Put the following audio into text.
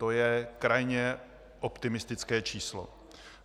To je krajně optimistické číslo.